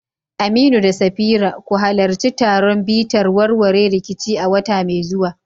Aminu da Safira, ku halarci taron bitar warware rikici a wata mai zuwa